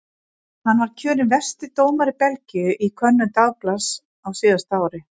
Hann var kjörinn versti dómari Belgíu í könnun dagblaðs á síðasta ári.